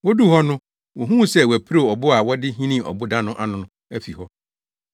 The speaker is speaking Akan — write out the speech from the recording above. Woduu hɔ no wohuu sɛ wɔapirew ɔbo a wɔde hinii ɔboda no ano no afi hɔ.